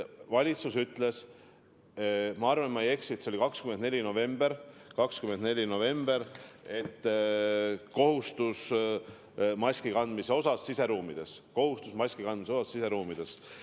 Valitsus ütles, ma arvan, et ma ei eksi, 24. novembril, et kehtib maski kandmise kohustus siseruumides.